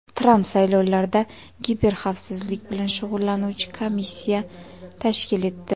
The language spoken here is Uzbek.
Tramp saylovlarda kiberxavfsizlik bilan shug‘ullanuvchi komissiya tashkil etdi.